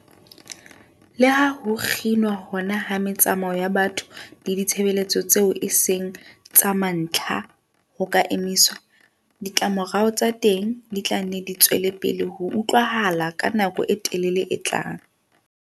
Leha ho kginwa hona ha metsamao ya batho le ditshebeletso tseo eseng tsa mantlha ho ka emiswa, ditlamorao tsa teng di tla nne di tswelepele ho utlwahala ka nako e telele e tlang.